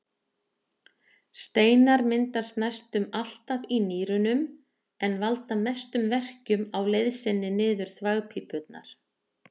Steinar myndast næstum alltaf í nýrunum en valda mestum verkjum á leið sinni niður þvagpípurnar.